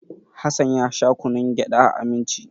Hassan ya sha kunnun gyada a Aminci.